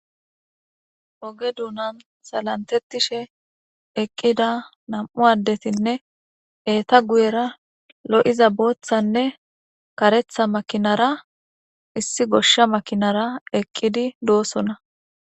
Oge duunan salantettishe eqqida nam'u addetinne eeta guyera lo'iza booththanne karetha makinara issi goshsha makinara eqqidi doosona.